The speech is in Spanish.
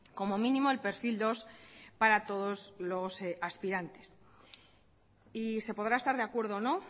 como mínimo el perfil dos para todos los aspirantes y se podrá estar de acuerdo o no